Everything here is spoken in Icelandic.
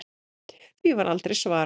Því var aldrei svarað.